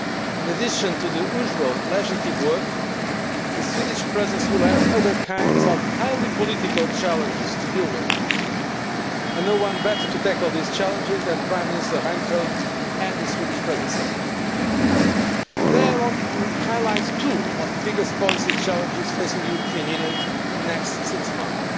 In addition to the usual legislative work, the Swedish Presidency will have other kinds of highly political challenges to deal with, and no one better to tackle these challenges than Prime Minister Reinfeldt and the Swedish Presidency team. Today I want to highlight two of the biggest policy challenges facing the European Union in the next six months